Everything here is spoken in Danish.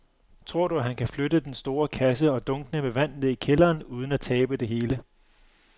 Tror du, at han kan flytte den store kasse og dunkene med vand ned i kælderen uden at tabe det hele?